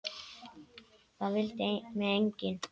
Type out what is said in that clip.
Það vildi mig enginn!